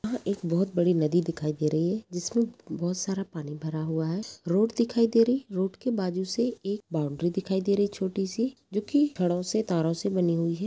यह एक बहुत बड़ी नदी दिखाई दे रही है जिसमें बहुत सारा पानी भरा हुआ है रोड दिखाई दे रही रोड के बाजु से एक बाउंड्री दिखाई दे रही छोटी सी जो कि छड़ो से तारो से बनी हुई है।